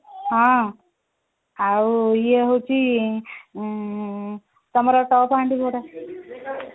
ଆଉ ଇଏ ହଉଛି ଆଁ ତମର ଟପ ହାଣ୍ଡି କୋଉଟା